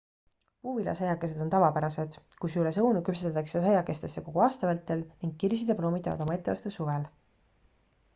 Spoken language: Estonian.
puuviljasaiakesed on tavapärased kusjuures õunu küpsetatakse saiakestesse kogu aasta vältel ning kirsid ja ploomid teevad oma etteaste suvel